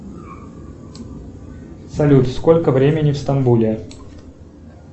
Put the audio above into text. салют сколько времени в стамбуле